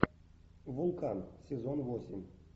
вулкан сезон восемь